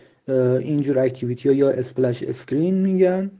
аа